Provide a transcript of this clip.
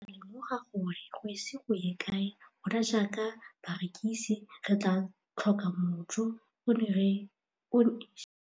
Ke ne ka lemoga gore go ise go ye kae rona jaaka barekise re tla tlhoka mojo, o ne a re jalo.